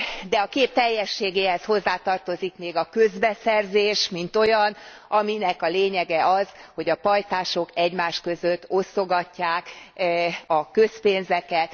De a kép teljességéhez hozzátartozik még a közbeszerzés, mint olyan, aminek a lényege az, hogy a pajtások egymás között osztogatják a közpénzeket.